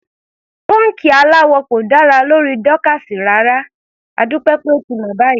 Pọ́ńkì aláwọ̀ kò dára lórí Dorcas rárá, adúpẹ́ pé ó ti mọ̀ báyìí.